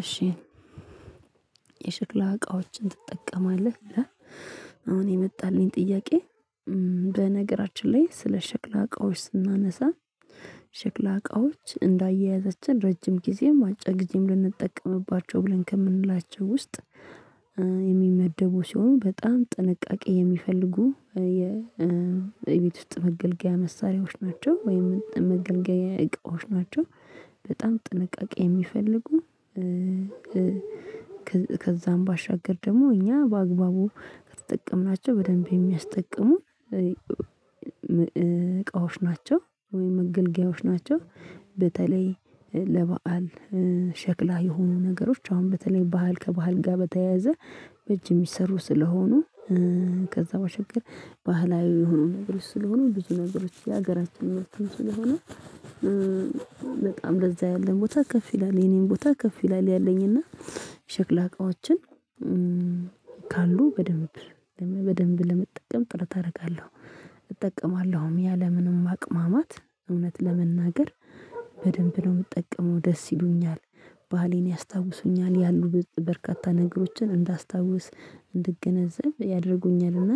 እሺ የሽክላ እቃዎችን ትጠቀማለህ? ይላል አሁን የመጣልኝ ጥያቄ በነገራችን ላይ ስለ ሽክላ እቃዎች ስናነሳ ሽክላ እቃዎች እንዳያያዛችን ረጅም ጊዜም አጭር ጊዜም ልንጠቀምባቸው ብለን ከምንላቸው ውስጥ የሚመደቡ ሲሆን በጣም ጥንቃቄ የሚፈልጉ የቤት ውስጥ መገልገያ መሳሪያዎች ናቸው ወይም መገልገያ እቃዎች ናቸው። በጣም ጥንቃቄ የሚፈልጉ። ከዛም ባሻገር ደግሞ እኛ በአግባቡ የተጠቀምናቸው በደንብ የሚያስጠቅሙ እቃዎች ናቸው ወይም መገልገያዎች ናቸው። በተለይ ለበአል ሸክላ የሆኑ ነገሮች አሁን በተለይ ባህል ከባህል ጋር በተያያዘ በእጅ የሚሰሩ ስለሆኑ ከዛ ባሻገር ባህላዊ የሆኑ ነገሮች ስለሆኑ ብዙ ነገሮች የሀገራችን ምርትም ስለሆኑ። በጣም ለዛ ያለን ቦታ ከፍ ይላል የኔም ቦታ ከፍ ይላል። ያለኝና ሸክላ እቃዎችን ካሉ በደንብ በደንብ ለመጠቀም ጥረት አደርጋለሁ። እጠቀማለሁም ያለ ምንም ማቅማማት እውነት ለመናገር በደንብ ነው የምጠቀመው ደስ ይሉኛል። ባሌን ያስታውሱኛል ያሉት በርካታ ነገሮችን እንዳስታውስ እንድገነዘብ ያደርጉኛልና።